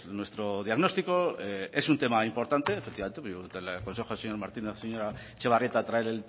nuestro diagnóstico es un tema importante efectivamente yo le aconsejo al señor martínez a la señora etxebarrieta traer